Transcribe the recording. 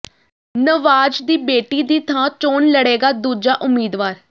ਨਵਾਜ਼ ਦੀ ਬੇਟੀ ਦੀ ਥਾਂ ਚੋਣ ਲੜੇਗਾ ਦੂਜਾ ਉਮੀਦਵਾਰ